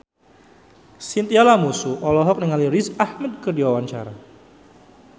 Chintya Lamusu olohok ningali Riz Ahmed keur diwawancara